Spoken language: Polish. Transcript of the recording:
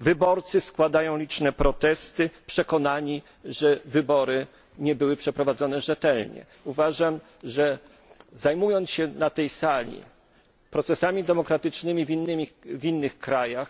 wyborcy składają liczne protesty przekonani, że wybory nie były przeprowadzone rzetelnie. Uważam, że zajmując się na tej sali procesami demokratycznymi w innych krajach,